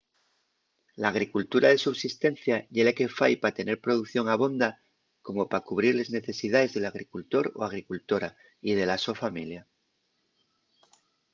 l’agricultura de subsistencia ye la que fai pa tener producción abonda como pa cubrir les necesidaes del agricultor o agricultora y de la so familia